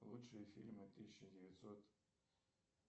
лучшие фильмы тысяча девятьсот